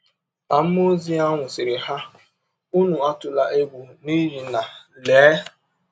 Ma mmụọ ọzi ahụ sịrị ha: ‘ Ụnụ atụla egwụ, n’ihi na, lee!